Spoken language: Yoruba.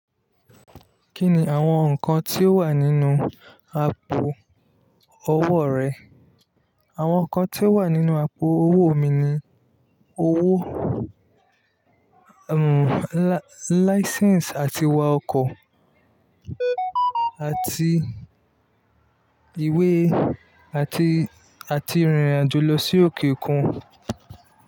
Kí ni àwọn nǹkan tí ó wà nínú àpò owó rẹ? Àwọn nǹkan tí ó wà nínú àpò owó mi ni owó, license àti wa ọkọ̀ àti ìwé àti, àti rìnrìn àjò lọ sí òkè òkun.